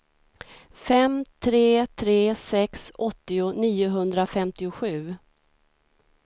fem tre tre sex åttio niohundrafemtiosju